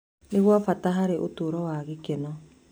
Nĩ gwa bata harĩ ũtũũro wa gĩkeno.